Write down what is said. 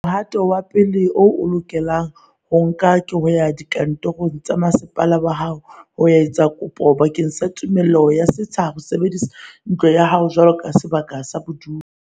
Mohato wa pele o o lokelang ho o nka ke ho ya dikantorong tsa masepala wa hao ho ya etsa kopo bakeng sa tumello ya setsha ho sebedisa ntlo ya hao jwaloka sebaka sa bodulo.